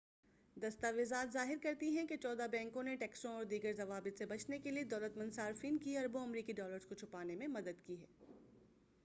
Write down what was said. دستاویزات ظاہر کرتی ہیں کہ چودہ بینکوں نے ٹیکسوں اور دیگر ضوابط سے بچنے کے لیے دولت مند صارفین کی اربوں امریکی ڈالرز کو چھپانے میں مدد کی